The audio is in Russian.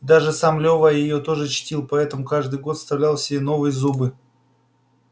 и даже сам лева её тоже чтил потому что каждый год вставлял себе новые зубы